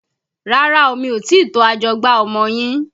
Rárá o, mi ò tí ì to ajọgbá ọmọ yín